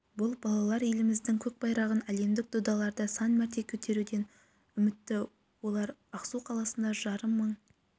бұл балалар еліміздің көк байрағын әлемдік додаларда сан мәрте көтеруден үмітті олар ақсу қаласында жарым мың